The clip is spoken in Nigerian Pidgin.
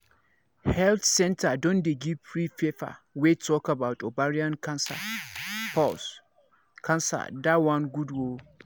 health centre don dey give free paper wey tallk about ovarian pause cancer that one good ooo